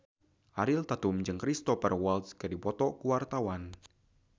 Ariel Tatum jeung Cristhoper Waltz keur dipoto ku wartawan